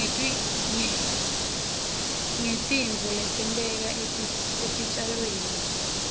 ngetitfo letenteka etitjalweni